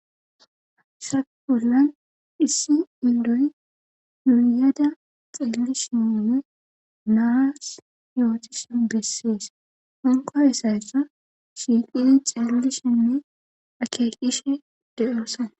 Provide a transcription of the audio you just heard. Sha pollan issi indoy yuuyada xeelli shinone naas yootise bessees onqo esaysa shiiqini xeellishinne akeekishe deyoosan.